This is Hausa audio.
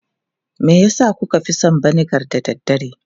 Me yasa kuka fi son vinegar da dare?